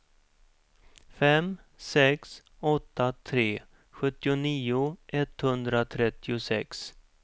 fem sex åtta tre sjuttionio etthundratrettiosex